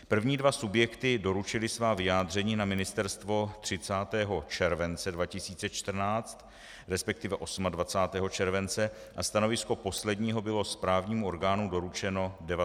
První dva subjekty doručily svá vyjádření na ministerstvo 30. července 2014, respektive 28. července, a stanovisko posledního bylo správnímu orgánu doručeno 19. srpna.